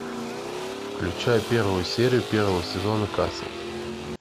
включай первую серию первого сезона касл